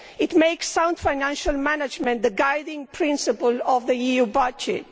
It enshrines sound financial management as the guiding principle of the EU budget.